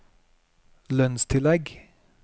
lønnstillegg